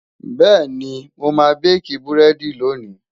bẹẹni, moma baki burẹdi lóni